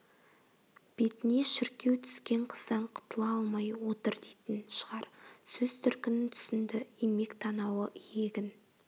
бетіне шіркеу түскен қыздан құтыла алмай отыр дейтін шығар сөз төркінін түсінді имек танауы иегін